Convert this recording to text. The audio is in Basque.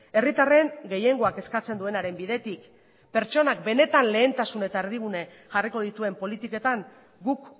herritarren gehiengoak eskatzen duenaren bidetik pertsonak benetan lehentasun eta erdigune jarriko dituen politiketan guk